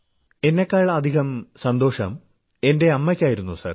എന്നെക്കാളധികം സന്തോഷം എന്റെ അമ്മയ്ക്കായിരുന്നു സർ